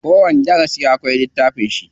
Kowani darasi akwai littafin shi.